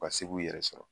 Ka se k'u yɛrɛ sɔrɔ